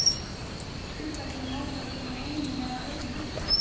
Uppeldið mótar okkur með einum eða öðrum hætti.